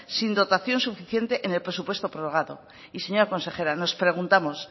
sin dotación suficiente en el presupuesto prorrogado y señora consejera nos preguntamos